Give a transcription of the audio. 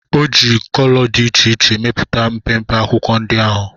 O ji kolo dị iche iche mepụta mpempe akwụkwọ ndị ahụ